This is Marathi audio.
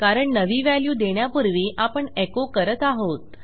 कारण नवी व्हॅल्यू देण्यापूर्वी आपणechoकरत आहोत